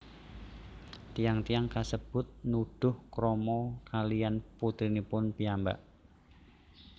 Tiyang tiyang kasebut nuduh krama kalihan putrinipun piyambak